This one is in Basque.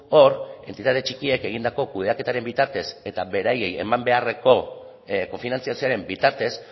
hor entitate txikiek egindako kudeaketaren bitartez eta beraiei eman beharreko kofinantzazioaren bitartez